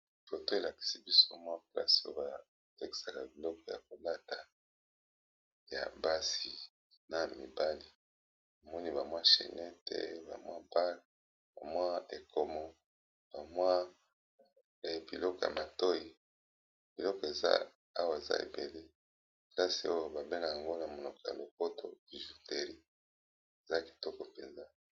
Photo elakisi biso mwa place batekisaka Biloko Yako lata ya mibali pe ya basi